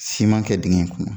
Siman kɛ digɛn in kɔnɔ